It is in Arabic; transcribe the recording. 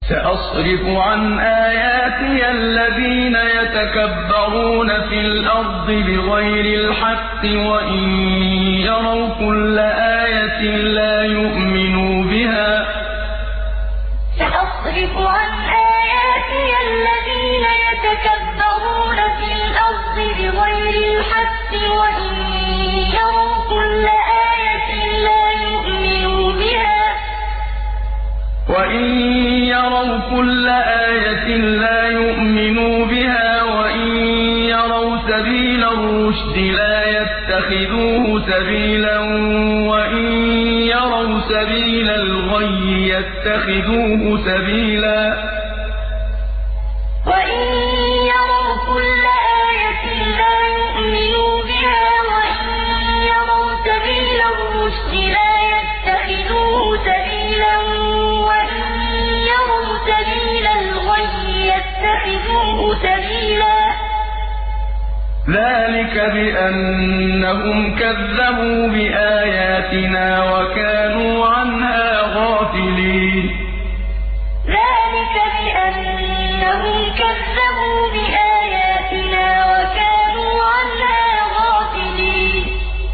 سَأَصْرِفُ عَنْ آيَاتِيَ الَّذِينَ يَتَكَبَّرُونَ فِي الْأَرْضِ بِغَيْرِ الْحَقِّ وَإِن يَرَوْا كُلَّ آيَةٍ لَّا يُؤْمِنُوا بِهَا وَإِن يَرَوْا سَبِيلَ الرُّشْدِ لَا يَتَّخِذُوهُ سَبِيلًا وَإِن يَرَوْا سَبِيلَ الْغَيِّ يَتَّخِذُوهُ سَبِيلًا ۚ ذَٰلِكَ بِأَنَّهُمْ كَذَّبُوا بِآيَاتِنَا وَكَانُوا عَنْهَا غَافِلِينَ سَأَصْرِفُ عَنْ آيَاتِيَ الَّذِينَ يَتَكَبَّرُونَ فِي الْأَرْضِ بِغَيْرِ الْحَقِّ وَإِن يَرَوْا كُلَّ آيَةٍ لَّا يُؤْمِنُوا بِهَا وَإِن يَرَوْا سَبِيلَ الرُّشْدِ لَا يَتَّخِذُوهُ سَبِيلًا وَإِن يَرَوْا سَبِيلَ الْغَيِّ يَتَّخِذُوهُ سَبِيلًا ۚ ذَٰلِكَ بِأَنَّهُمْ كَذَّبُوا بِآيَاتِنَا وَكَانُوا عَنْهَا غَافِلِينَ